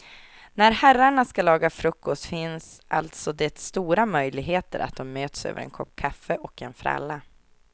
När herrarna ska laga frukost finns alltså det stora möjligheter att de möts över en kopp kaffe och en fralla.